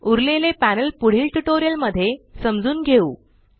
उरलेले पॅनल पुढील ट्यूटोरियल मध्ये समजून घेऊ